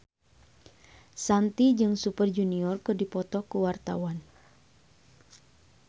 Shanti jeung Super Junior keur dipoto ku wartawan